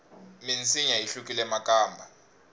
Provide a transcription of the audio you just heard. minsinya yi hlukile makamba